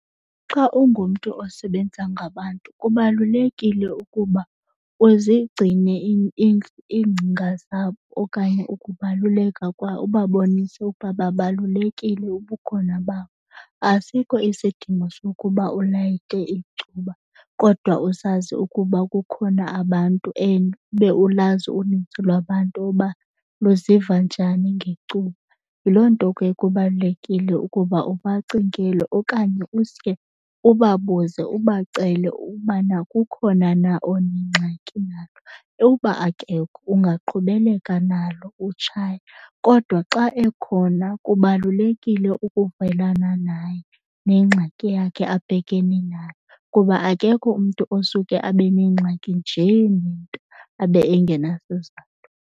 Xa ungumntu osebenza ngabantu kubalulekile ukuba uzigcine iingcinga zabo okanye ukubaluleka ubabonise ukuba babalulekile ubukhona babo. Asikho isidingo sokuba ulayite icuba kodwa usazi ukuba kukhona abantu and ube ulazi unintsi lwabantu uba luziva njani ngecuba. Yiloo nto ke kubalulekile ukuba ubacingele okanye uske ubabuze ubacele ubana kukhona na onengxaki nalo. Uba akekho ungaqhubeleka nalo, utshaye. Kodwa xa ekhona kubalulekile ukuvelana naye nengxaki yakhe abhekene nayo kuba akekho umntu osuke abe nengxaki njee nento abe engenasizathu.